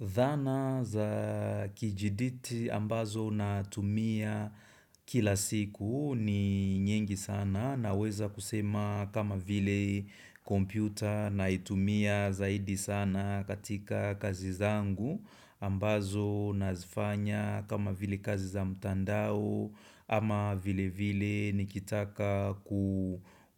Dhana za kijiditi ambazo na tumia kila siku ni nyingi sana naweza kusema kama vile kompyuta naitumia zaidi sana katika kazi zangu ambazo nazifanya kama vile kazi za mtandao ama vile vile nikitaka